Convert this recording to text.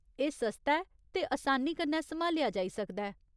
एह् सस्ता ऐ ते असानी कन्नै सम्हालेआ जाई सकदा ऐ।